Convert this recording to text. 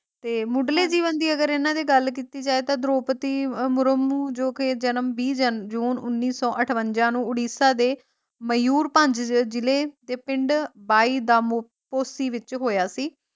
ਤੇ ਮੁੰਡਲੇ ਜੀਵਨ ਦੀ ਅਗਰ ਏਨਾ ਗੱਲ ਕੀਤੀ ਜਾਏ ਤਾ ਦ੍ਰੋਪਦੀ ਮੁਰੁਮੁ ਜੋ ਕੇ ਜਨਮ ਬੀਹ ਜਨ ਜੂਨ ਉਨੀ ਸੌ ਅਠਵੰਜਾ ਨੂੰ ਉੜੀਸਾ ਦੇ ਮਯੂਰਪੰਜ ਜਿਲੇ ਤੇ ਪਿੰਡ ਬਾਈ ਦਾਮੋ ਕੋਸੀ ਵਿਚ ਹੋਇਆ ਸੀ ।